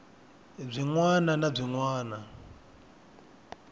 byin wana na byin wana